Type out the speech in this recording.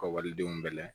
Ka waledenw bɛɛ layɛ